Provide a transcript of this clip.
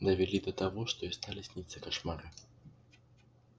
довели до того что ей стали сниться кошмары